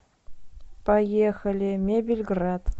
поехали мебельград